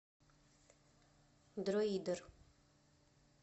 друидер